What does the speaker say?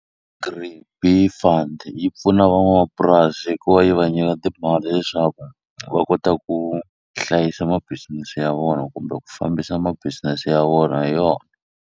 Bee Fund yi pfuna van'wamapurasi hi ku va yi va nyika timali leswaku va kota ku hlayisa mabisinesi ya vona kumbe ku fambisa ma-business ya vona hi .